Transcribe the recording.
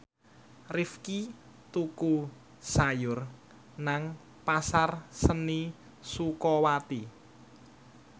Rifqi tuku sayur nang Pasar Seni Sukawati